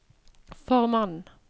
formannen